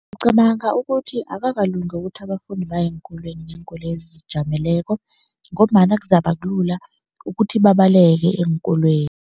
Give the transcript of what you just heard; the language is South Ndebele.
Ngicabanga ukuthi akakalungi ukuthi abafundi baye eenkolweni ngeenkoloyi ezizijameleko ngombana kuzabe kulula ukuthi babaleke eenkolweni.